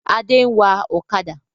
Adé ń wá ọ̀kadà